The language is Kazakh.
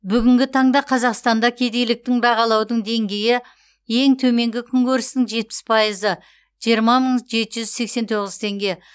бүгінгі таңда қазақстанда кедейліктің бағалаудың деңгейі ең төменгі күнкөрістің жетпіс пайызы жиырма мың жеті жүз сексен тоғыз теңге